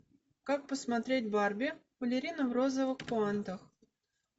как посмотреть барби балерина в розовых пуантах